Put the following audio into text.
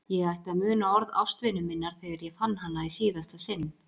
Ég ætti að muna orð ástvinu minnar þegar ég fann hana í síðasta sinn.